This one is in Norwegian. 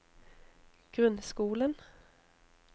grunnskolen